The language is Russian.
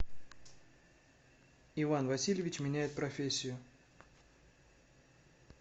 иван васильевич меняет профессию